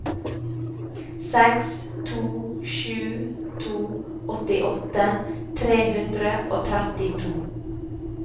seks to sju to åttiåtte tre hundre og trettito